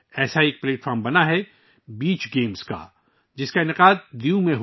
ایسا ہی ایک پلیٹ فارم جو بنایا گیا ہے بیچ گیمز، دیو میں منعقد کیا گیا تھا